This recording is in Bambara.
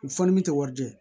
U fɔ ni min tɛ wari jɛ